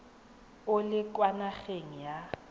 o le kwa nageng ya